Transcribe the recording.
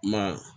Ma